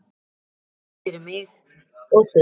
Snúður fyrir mig og þig.